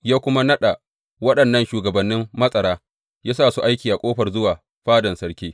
Ya kuma naɗa waɗannan shugabannin matsara ya sa su aiki a ƙofar zuwa fadan sarki.